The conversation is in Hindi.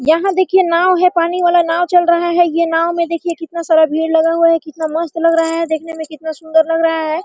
यहां देखिए नाव है पानी वाला नाव चल रहा है ये नाव में देखिए कितना सारा भीड़ लगा हुआ है कितना मस्त लग रहा है देखने में कितना सुंदर लग रहा है।